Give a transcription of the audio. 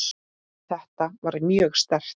Þetta var mjög sterkt.